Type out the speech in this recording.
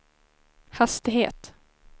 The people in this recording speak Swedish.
hastighet